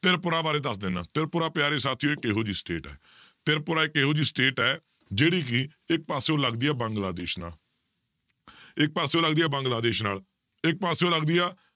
ਤ੍ਰਿਪੁਰਾ ਬਾਰੇ ਦੱਸ ਦਿਨਾ, ਤ੍ਰਿਪੁਰਾ ਪਿਆਰੇ ਸਾਥੀਓ ਇੱਕ ਇਹੋ ਜਿਹੀ state ਹੈ ਤ੍ਰਿਪੁਰਾ ਇੱਕ ਇਹੋ ਜਿਹੀ state ਹੈ, ਜਿਹੜੀ ਕਿ ਇੱਕ ਪਾਸਿਓ ਲੱਗਦੀ ਹੈ ਬੰਗਲਾ ਦੇਸ ਨਾਲ ਇਸ ਪਾਸਿਓ ਲੱਗਦੀ ਹੈ ਬੰਗਲਾ ਦੇਸ ਨਾਲ, ਇੱਕ ਪਾਸਿਓ ਲੱਗਦੀ ਆ,